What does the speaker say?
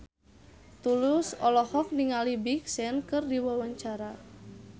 Tulus olohok ningali Big Sean keur diwawancara